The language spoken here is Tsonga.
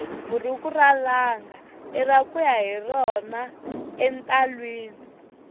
buruku ra langa ira kuya hi rona entalwini